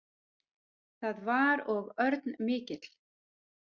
Það var og örn mikill.